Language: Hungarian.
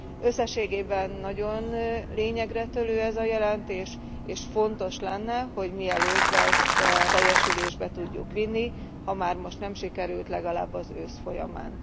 Összességében nagyon lényegre törő ez a jelentés, és fontos lenne, hogy mielőbb ezt teljesülésbe tudjuk vinni, ha már most nem sikerült, legalább az ősz folyamán.